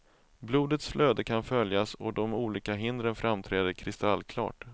Blodets flöde kan följas och de olika hindren framträder kristallklart.